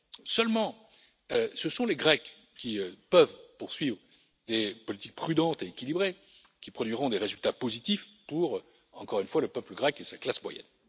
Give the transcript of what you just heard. Seulement, ce sont les Grecs, qui peuvent poursuivre des politiques prudentes et équilibrées, qui produiront des résultats positifs pour, encore une fois, le peuple grec et sa classe moyenne.